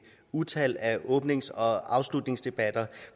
utal af åbnings og afslutningsdebatter